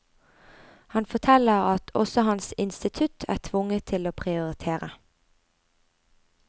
Han forteller at også hans institutt er tvunget til å prioritere.